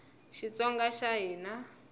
xitsonga xa hina